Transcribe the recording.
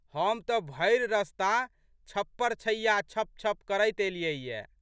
हम तऽ भरि रस्ता छप्परछैयाँ छप छप करैत एलियै ये।